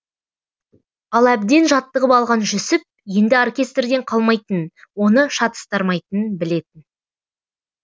ал әбден жаттығып алған жүсіп енді оркестрден қалмайтынын оны шатыстырмайтынын білетін